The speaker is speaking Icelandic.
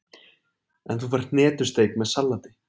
En þú færð hnetusteik með salati.